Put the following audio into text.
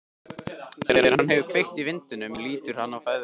Þegar hann hefur kveikt í vindlinum lítur hann á ferðalang.